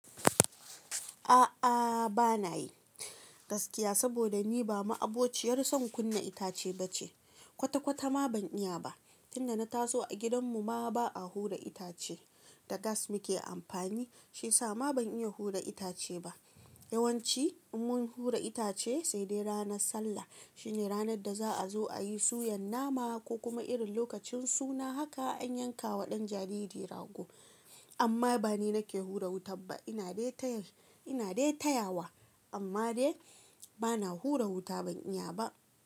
A'a, bana yi gaskiya, saboda ni ba ma'abociyar son kunna itace ba ce. Kwata-kwata ma ban iya ba. Tunda na taso a gidanmu ma ba a hura itace. Tagas muke amfani, shi sa ma ban iya hura itace ba. Yawanci mun hura itace, sai dai ranar sallah. Shine ranar da za'a zo ayi suyan nama, ko kuma irin lokacin suna haka an yanka wa ɗan jariri rago. Amma ba ni nake hura wuta ba. Ina dai taya, ina dai tayawa, amma dai bana hura wuta. Ban iya ba.